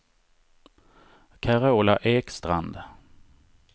Carola Ekstrand